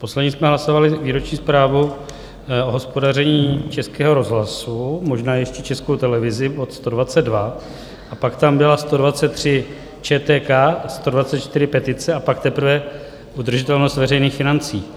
Poslední jsme hlasovali výroční zprávu o hospodaření Českého rozhlasu, možná ještě Českou televizi, bod 122, a pak tam byla 123, ČTK; 124, petice, a pak teprve udržitelnost veřejných financí.